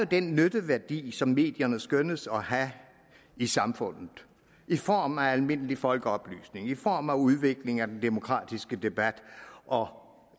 den nytteværdi som medierne skønnes at have i samfundet i form af almindelig folkeoplysning i form af udvikling af den demokratiske debat og